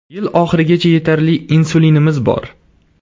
Yil oxirigacha yetarli insulinimiz bor.